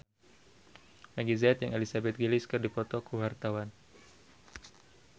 Meggie Z jeung Elizabeth Gillies keur dipoto ku wartawan